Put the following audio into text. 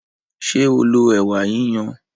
Ṣé o lo ẹ̀wà yiyan?